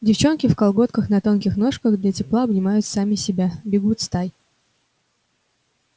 девчонки в колготках на тонких ножках для тепла обнимают сами себя бегут стай